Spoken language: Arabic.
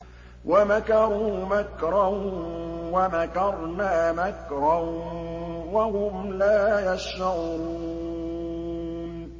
وَمَكَرُوا مَكْرًا وَمَكَرْنَا مَكْرًا وَهُمْ لَا يَشْعُرُونَ